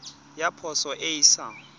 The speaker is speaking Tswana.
ya poso e e sa